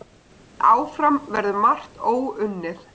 En áfram verður margt óunnið.